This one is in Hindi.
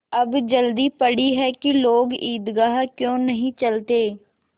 अब जल्दी पड़ी है कि लोग ईदगाह क्यों नहीं चलते